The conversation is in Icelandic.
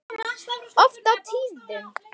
Oft á tíðum.